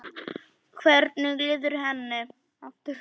Hvernig líður henni?